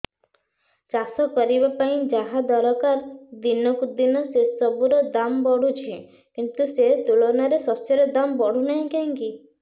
ଚାଷ କରିବା ପାଇଁ ଯାହା ଦରକାର ଦିନକୁ ଦିନ ସେସବୁ ର ଦାମ୍ ବଢୁଛି କିନ୍ତୁ ସେ ତୁଳନାରେ ଶସ୍ୟର ଦାମ୍ ବଢୁନାହିଁ କାହିଁକି